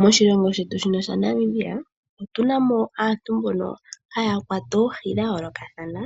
Moshilongo shetu shino Namibia otuna mo aantu mbono haya kwata oohi dha yoolokathana .